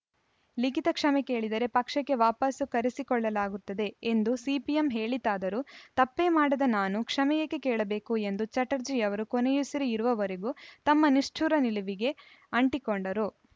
ಲಿಖಿತ ಕ್ಷಮೆ ಕೇಳಿದರೆ ಪಕ್ಷಕ್ಕೆ ವಾಪಸು ಕರೆಸಿಕೊಳ್ಳಲಾಗುತ್ತದೆ ಎಂದು ಸಿಪಿಎಂ ಹೇಳಿತಾದರೂ ತಪ್ಪೇ ಮಾಡದ ನಾನು ಕ್ಷಮೆ ಏಕೆ ಕೇಳಬೇಕು ಎಂದು ಚಟರ್ಜಿ ಅವರು ಕೊನೆಯುಸಿರು ಇರುವವರೆಗೂ ತಮ್ಮ ನಿಷ್ಠುರ ನಿಲುವಿಗೇ ಅಂಟಿಕೊಂಡರು